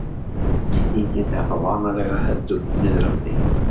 Merkingin er þá vanalega heldur niðrandi.